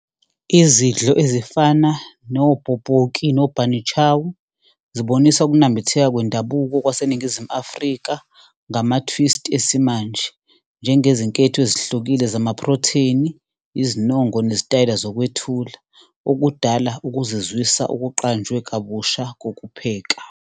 Izidlo ezifana no-bobotjie no-bunny chow, zibonisa ukunambitheka kwendabuko kwaseNingizimu Afrika ngama-twist esimanje. Njengezinketho ezehlukile zamaphrotheni, izinongo nezitayela zokwethula okudala ukuzizwisa okuqanjwe kabusha kokupheka.